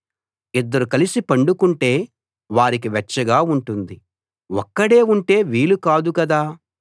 ఇద్దరు కలిసి పండుకొంటే వారికి వెచ్చగా ఉంటుంది ఒక్కడే ఉంటే వీలు కాదు కదా